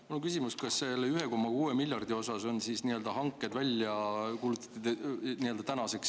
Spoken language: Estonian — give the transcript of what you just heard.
Mul on küsimus, kas selle 1,6 miljardi euro osas on siis hanked välja kuulutatud.